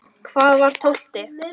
Hvað var tólfti?